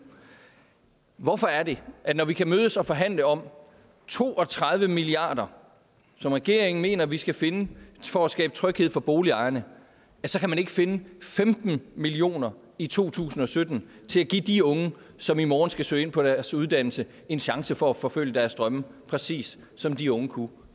hvorfor er det at når vi kan mødes og forhandle om to og tredive milliard kr som regeringen mener vi skal finde for at skabe tryghed for boligejerne så kan man ikke finde femten million kroner i to tusind og sytten til at give de unge som i morgen skal søge ind på deres uddannelse en chance for at forfølge deres drømme præcis som de unge kunne